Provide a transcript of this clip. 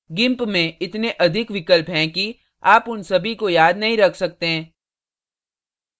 gimp में इतने अधिक विकल्प हैं कि आप उन सभी को याद नहीं रख सकते